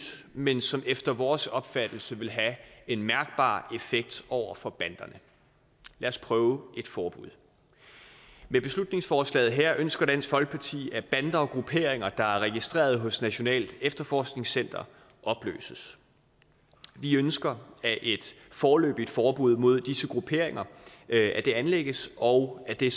men som efter vores opfattelse vil have en mærkbar effekt over for banderne lad os prøve et forbud med beslutningsforslaget her ønsker dansk folkeparti at bander og grupperinger der er registreret hos nationalt efterforskningscenter opløses vi ønsker at et foreløbigt forbud mod disse grupperinger anlægges og at det